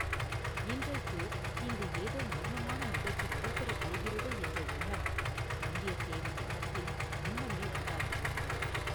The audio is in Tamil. இன்றைக்கு இங்கு ஏதோ மர்மமான நிகழ்ச்சி நடைபெறப் போகிறது என்ற எண்ணம் வந்தியத்தேவன் மனத்தில் முன்னமே உண்டாகியிருந்தது.